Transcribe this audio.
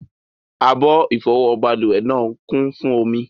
Abọ́ ìfọwọ́ balùwẹ̀ náà ń kún fún omi.